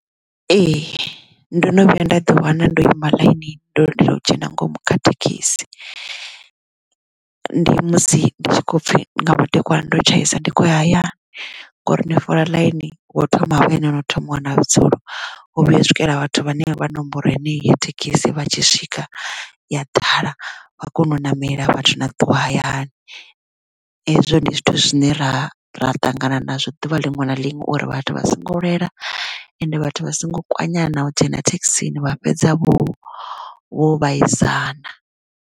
Ee ndo no vhuya nda ḓi wana ndo ima ḽainini ndo lindela u dzhena ngomu kha thekhisi ndi musi ndi tshi kho pfhi nga madekwana ndo tshaisa ndi khou ya hayani ngori ni fola ḽaini wo thoma havha ene wo thoma u wana vhudzulo u vhuya u swikela vhathu vhane vha nomboro yeneyo ya thekhisi vha tshi swika ya ḓala vha kone u ṋamelaa vhathu na ṱuwa hayani hezwo ndi zwithu zwine ra ra ṱangana na zwo ḓuvha liṅwe na liṅwe uri vhathu vha songo lwela ende vhathu vha songo kwanyana na u dzhena thekhisini vha fhedza vho vho vhaisana.